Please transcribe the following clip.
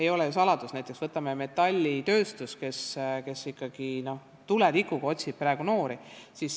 Ei ole ju saladus, et näiteks metallitööstus otsib noori praegu ikkagi tuletikuga.